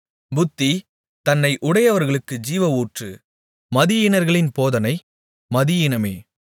புத்தி தன்னை உடையவர்களுக்கு ஜீவஊற்று மதியீனர்களின் போதனை மதியீனமே